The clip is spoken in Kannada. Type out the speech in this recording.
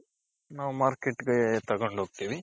ನಾವ್ marketಗೆ ತಗೊಂಡ್ ಹೋಗ್ತಿವಿ.